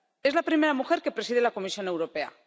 Es la primera mujer que preside la Comisión Europea.